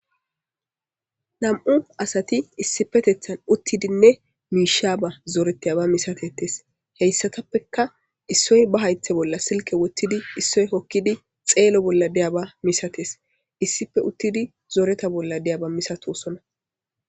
nam7u asati issipetethan uttidinne miishaba zooreteyaba misatetes heyssatappeka issoy ba haythe bolla silke wottidi issoy hokkidi xeelo bolla deyaba misates issipe uttidi zooreta bolla deyaba misatosona